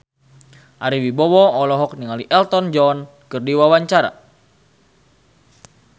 Ari Wibowo olohok ningali Elton John keur diwawancara